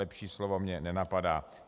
Lepší slovo mě nenapadá.